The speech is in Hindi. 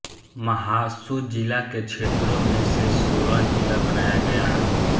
महासू ज़िला के क्षेत्रों में से सोलन ज़िला बनाया गया